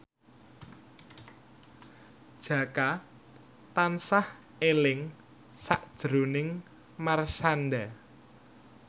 Jaka tansah eling sakjroning Marshanda